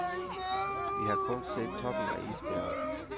Vi har kun set toppen af isbjerget.